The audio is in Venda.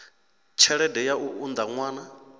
tshelede ya u unḓa ṅwana